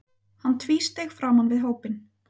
Hann tvísteig framan við hópinn.